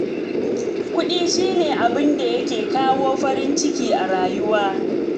Kuɗi shi ne abin da yake kawo farin ciki a rayuwa